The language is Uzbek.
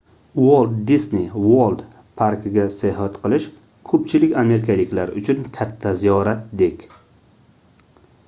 walt disney world parkiga sayohat qilish koʻpchilik amerikaliklar uchun katta ziyoratdek